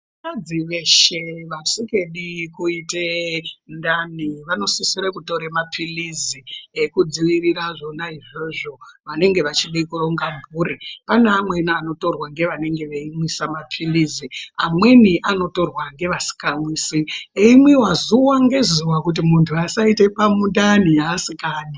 Vakadzi veshe vasikadi kuite ndani vanosisire kutore mapilizi ekudzivirira zvona izvozvo vanenge vachida kuronga mhuri, pane amweni anotorwa ngevanenge veimwisa mapilizi amweni anotorwa ngevasikamwisi eimwiwa zuwa ngezuwa kuti muntu asaita pamundani asikadi.